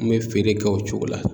N bɛ feere kɛ o cogo la